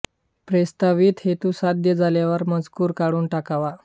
प्रस्तावित हेतू साध्य झाल्यावर हा मजकूर काढून टाकावा